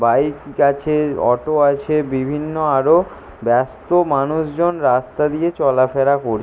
bike আছে auto আছে বিভিন্ন আরও ব্যস্ত মানুষজন রাস্তা দিয়ে চলাফেরা কর--